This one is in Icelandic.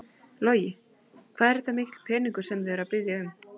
Logi: Hvað er þetta mikill peningur sem þið eruð að biðja um?